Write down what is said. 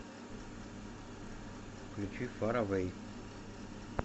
включи фар эвэй